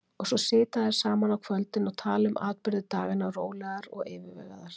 Og svo sitja þær saman á kvöldin og tala um atburði daganna rólegar og yfirvegaðar.